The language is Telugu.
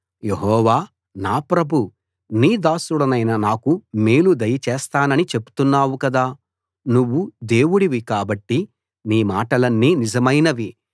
యెహోవా నా ప్రభూ నీ దాసుడనైన నాకు మేలు దయచేస్తానని చెప్తున్నావు కదా నువ్వు దేవుడివి కాబట్టి నీ మాటలన్నీ నిజమైనవి